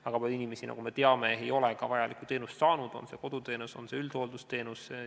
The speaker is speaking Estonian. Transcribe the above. Väga palju inimesi, nagu me teame, ei ole ka vajalikku teenust saanud, olgu see koduteenus või üldhooldusteenus.